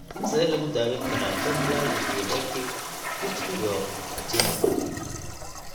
Sidee lagu daweyn karaa familial exudative vitreoretinopathy?